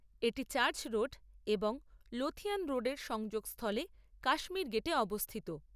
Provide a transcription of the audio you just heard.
এটি church road এবং Lothian রোডের সংযোগস্থলে কাশ্মীর গেটে অবস্থিত।